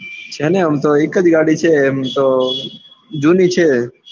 છે ને આમ તો એક જ ગાડી છે એમ તો જૂની છે.